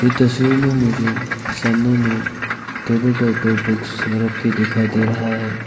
ये तस्वीर में मुझे सामने में टेबल के ऊपर बुक्स रखकर दिखाई दे रहा है।